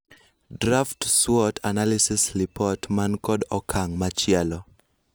Draft SWOT analysis lipot man kod okang' machielo/